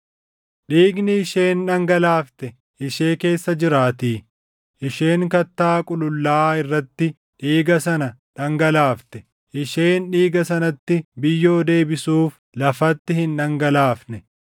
“ ‘Dhiigni isheen dhangalaafte ishee keessa jiraatii; isheen kattaa qulullaaʼaa irratti dhiiga sana dhangalaafte; isheen dhiiga sanatti biyyoo deebisuuf lafatti hin dhangalaafne.